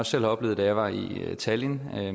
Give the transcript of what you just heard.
selv har oplevet da jeg var i talinn